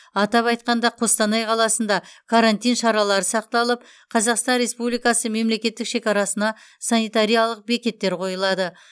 атап айтқанда қостанай қаласында карантин шаралары сақталып қазақстан республикасы мемлекеттік шекарасына санитариялық бекеттер қойылады